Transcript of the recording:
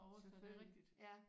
Selvfølgelig ja